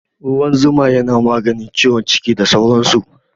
Ruwan zuma yana maganin ciwon ciki da sauran su